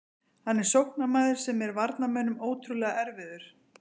Hann er sóknarmaður sem er varnarmönnum ótrúlega erfiður.